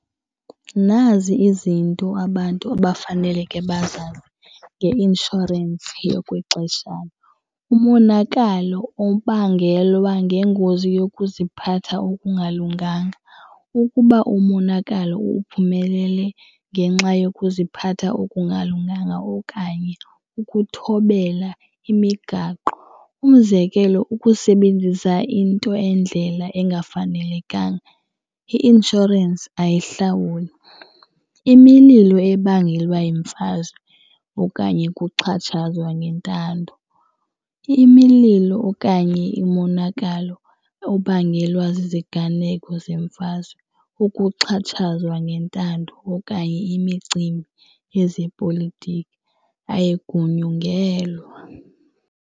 Nazi izinto abantu abafaneleke bazazi ngeinshorensi yokwexeshana, umonakalo obangelwa ngengozi yokuziphatha okungalunganga. Ukuba umonakalo uphumelele ngenxa yokuziphatha okungalunganga okanye ukuthobela imigaqo umzekelo, ukusebenzisa into endlela engafanelekanga, i-inshorensi ayihlawuli. Imililo ebangelwa yimfazwe okanye ukuxatshazwa ngentando. Imililo okanye imonakalo obangelwa ziziganeko zemfazwe, ukuxhatshazwa ngentando okanye imicimbi yezepolitiki ayigunyungelwa.